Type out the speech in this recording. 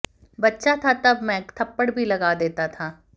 बच्चा था तब मैं थप्पड़ भी लगा देता था